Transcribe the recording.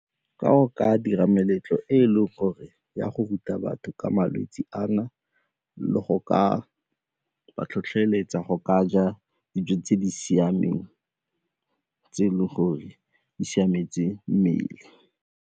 Ka go ka dira meletlo e e leng gore e a go ruta batho ka malwetse ana le go ka tlhotlheletsa go ka ja dijo tse di siameng tse e leng gore di siametse mmele.